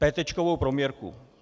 Pétéčkovou prověrku.